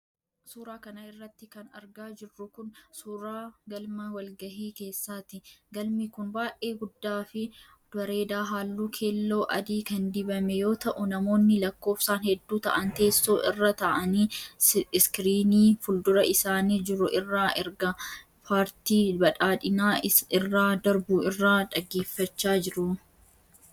Suura kana irratti kan argaa jirru kun ,suuragalma walgahii keessaati. Galmi kun baay'ee guddaa fu bareedaa haalluu kellooo-adii kan dibame yoo ta'u, namoonni lakkoofsaan hedduu ta'an teessoo irra ta'anii iskiriinii fuuldura isaanii jiru irraa ergaa paartii badhaadhinaa irraa darbu irraa dhageeffachaa jiru.